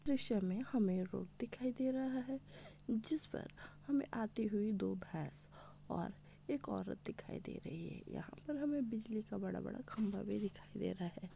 दृश्य में हमें रोड दिखाई दे रहा है | जिसपर हमें आती हुई दो भैंस और एक औरत दिखाई दे रही है यहाँ पे हमें बिजली का बड़ा बड़ा खम्बा भी दिखाई दे रहा है।